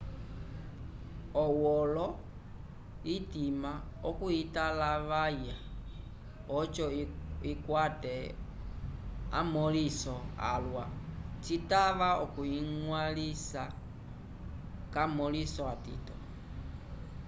owolo itava okuyitalavaya oco ikwate amõliso alwa citava okuyiñgwalisa k'amõliso atito